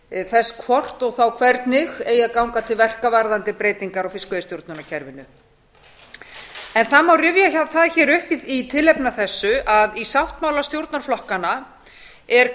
átektir þess hvort og hvernig eigi að ganga til verka varðandi breytingar á fiskveiðistjórnarkerfinu það má rifja það her upp í tilefni af þessu að í sáttmála stjórnarflokkanna er